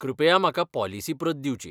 कृपया म्हाका पॉलिसी प्रत दिवची.